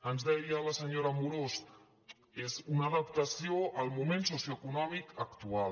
ens deia la senyora amorós és una adaptació al moment socioeconòmic actual